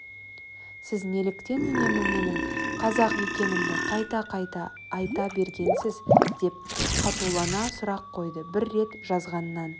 сіз неліктен үнемі менің қазақ екенімді қайта-қайта айта бергенсіз деп қатулана сұрақ қойды бір рет жазғаннан